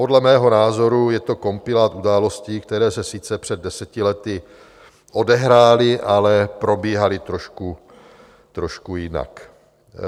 Podle mého názoru je to kompilát událostí, které se sice před deseti lety odehrály, ale probíhaly trošku jinak.